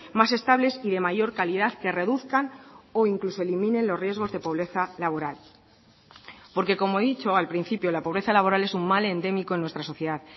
más estables y de mayor calidad que reduzcan o incluso eliminen los riesgos de pobreza laboral porque como he dicho al principio la pobreza laboral es un mal endémico en nuestra sociedad